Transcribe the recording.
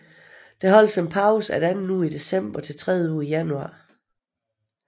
Der holdes en pause efter anden uge i december til tredje uge i januar